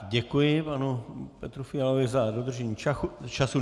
Děkuji panu Petru Fialovi za dodržení času.